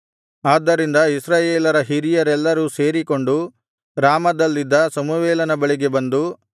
ಆದ್ದರಿಂದ ಇಸ್ರಾಯೇಲರ ಹಿರಿಯರೆಲ್ಲರೂ ಸೇರಿಕೊಂಡು ರಾಮದಲ್ಲಿದ್ದ ಸಮುವೇಲನ ಬಳಿಗೆ ಬಂದು